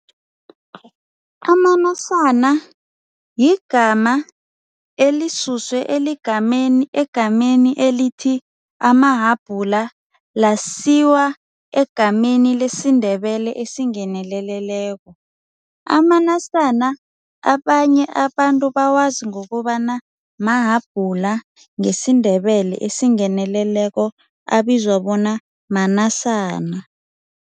Amanasana yigama elisuswe egameni elithi amahabhula lasiwa egameni lesiNdebele esingeneleleko. Amanasana abanye abantu bawazi ngokobana mahabhula ngesiNdebele esingeneleleko abizwa bona manasana.